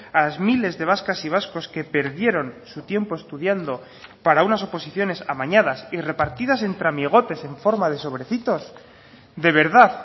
a las miles de vascas y vascos que perdieron su tiempo estudiando para unas oposiciones amañadas y repartidas entre amigotes en forma de sobrecitos de verdad